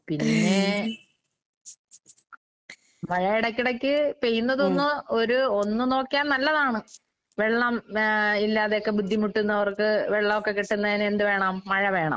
പിന്നെ മഴയെടയ്ക്കെടയ്ക്ക് പെയ്യുന്നതൊന്ന് ഒരു ഒന്ന് നോക്കിയാ നല്ലതാണ്. വെള്ളം വേ ഇല്ലാതെയൊക്കെ ബുദ്ധിമുട്ടുന്നവർക്ക് വെള്ളോക്കെക്കിട്ടുന്നേന് എന്ത് വേണം? മഴ വേണം.